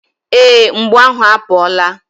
Ee, mgbu ahụ apụọla.